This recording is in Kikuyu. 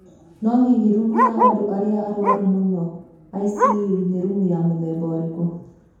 No hihi rumu ya andũ arĩa arũaru mũno (ICU) nĩ rumu ya mũthemba ũrĩkũ?